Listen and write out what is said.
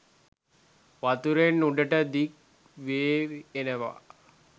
වතුරෙන් උඩට දික් වේවි එනවා.